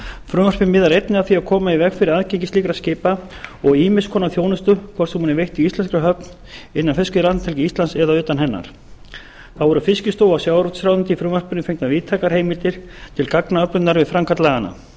frumvarpið miðar einnig að því að koma í veg fyrir aðgengi slíkra skipa að ýmiss konar þjónustu hvort sem hún er veitt í íslenskri höfn innan fiskveiðilandhelgi íslands eða utan hennar þá eru fiskistofu og sjávarútvegsráðuneytinu í frumvarpinu fengnar víðtækar heimildir til gagnaöflunar við framkvæmd laganna